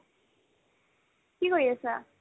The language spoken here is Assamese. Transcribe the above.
কি কৰি আছা ?